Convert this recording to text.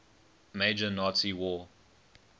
major nazi war